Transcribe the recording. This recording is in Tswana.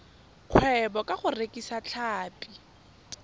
kgwebo ka go rekisa tlhapi